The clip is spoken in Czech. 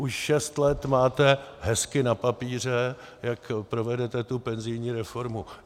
Už šest let máte hezky na papíře, jak provedete tu penzijní reformu.